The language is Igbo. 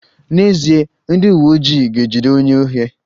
N'ezie, ndị uweojii ga-ejide onye ohi